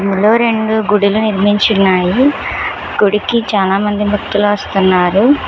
ఇందులో రెండు గుడులు నిర్మించి ఉన్నాయి గుడికి చానామంది భక్తులు వస్తున్నారు.